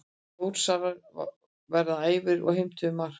Þórsarar voru æfir og heimtuðu mark.